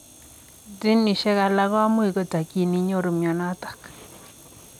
Jinisiek alaak komuuch kotakyiin inyoruu mionitok.